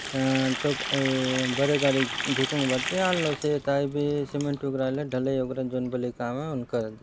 अ truck एइ बड़ी गाड़ी जी को वर्ती आल्यो से तायपे सिमेण्ट वगरेइला ढलेइ वगरा जोन पलि काम है उन करत है।